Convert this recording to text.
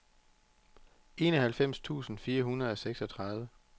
enoghalvfems tusind fire hundrede og seksogtredive